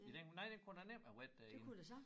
I den nej den kunne da nemt have været derinde